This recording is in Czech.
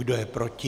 Kdo je proti?